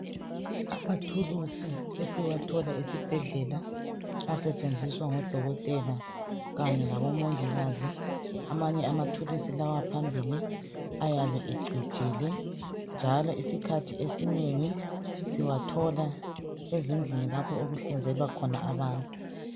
Amathulusi esiwathola esibhedlela asetshenziswa ngodokotela kanye labomongikazi, amanye amathulusi lawa phambili ayabe ecijile njalo isikhathi esinengi siwathola ezindlini lapho okuhlinzelwa khona abantu.